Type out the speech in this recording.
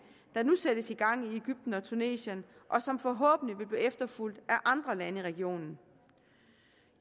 der nu sættes i gang i egypten og tunesien og som forhåbentlig vil blive efterfulgt af andre lande i regionen